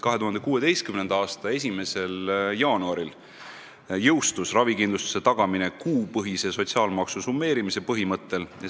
2016. aasta 1. jaanuaril jõustus ravikindlustuse tagamine kuupõhise sotsiaalmaksu summeerimise põhimõttel.